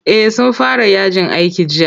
Eh sun fara yajin aiki jiya.